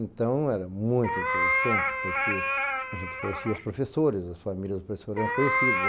Então, era muito interessante porque a gente conhecia os professores, as famílias dos professores eram conhecidas.